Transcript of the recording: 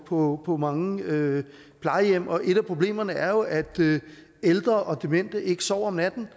på på mange plejehjem og et af problemerne er jo at ældre og demente ikke sover om natten